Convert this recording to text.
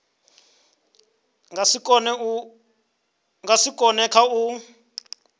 nga si kone kha u